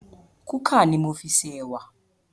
Kúkà ni mo fi ṣe ẹwà